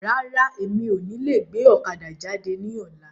Rárá, mi ò ní lè gbé ọ̀kadà jáde ní ọ̀la.